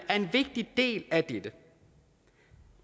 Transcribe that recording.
er en vigtig del af dette